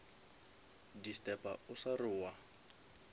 disturba o sa re wa